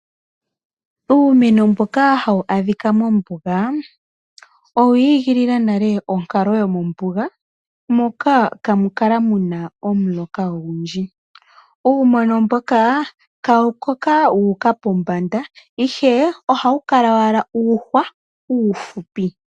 Uumeno mboka hawu adhika mombuga owi igilila nale onkalo yomombuga, moka kamu kala muna omuloka ogundji. Uumeno mboka kawu koka wu uka pombanda ihe ohawu kala owala uuhwa uufupi.